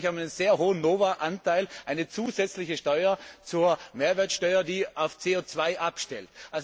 Wir in Österreich haben einen sehr hohen NOVA Anteil, eine zusätzliche Steuer zur Mehrwertsteuer, die auf CO 2 abstellt.